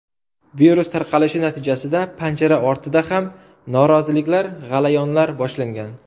Virus tarqalishi natijasida panjara ortida ham noroziliklar, g‘alayonlar boshlangan.